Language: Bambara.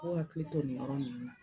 K'u hakili to nin yɔrɔ ninnu na